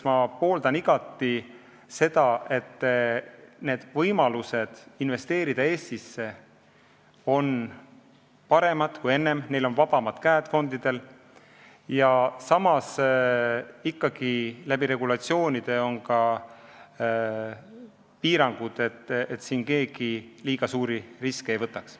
Ma pooldan igati seda, et võimalused Eestisse investeerida oleksid paremad kui enne ja fondidel oleksid vabamad käed ning ikkagi oleksid regulatsioonidega kehtestatud piirangud, et keegi liiga suuri riske ei võtaks.